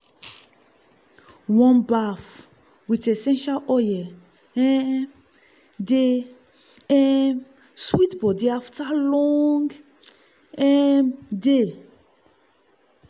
warm bath with essential oil um dey um sweet body after long um day.